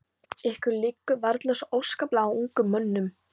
Ykkur liggur varla svo óskaplega á, ungum mönnunum.